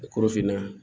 Korofinna